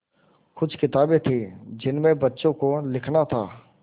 कुछ किताबें थीं जिनमें बच्चों को लिखना था